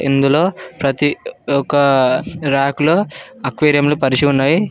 ఇందులో ప్రతి ఒక రాకు లో అక్వేరియం లు పరిచి ఉన్నాయి.